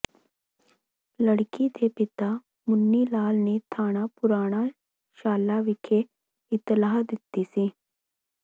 ਲੜਕੀ ਦੇ ਪਿਤਾ ਮੁਨੀ ਲਾਲ ਨੇ ਥਾਣਾ ਪੁਰਾਣਾ ਸ਼ਾਲਾ ਵਿਖੇ ਇਤਲਾਹ ਦਿੱਤੀ ਸੀ